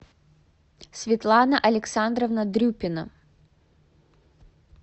светлана александровна дрюпина